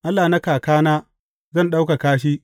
Allah na kakana, zan ɗaukaka shi.